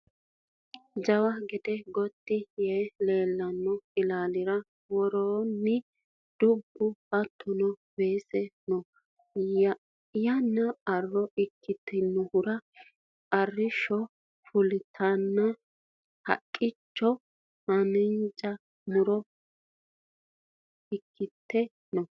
jawa gede gotti yee leellanno ilaalira worosiini dubbu hattono weese no yannano arro ikitinohura arrishsho fulteenna haqqeno hanja muro ikkite no